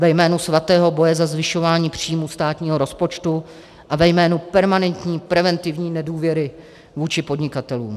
Ve jménu svatého boje za zvyšování příjmů státního rozpočtu a ve jménu permanentní preventivní nedůvěry vůči podnikatelům.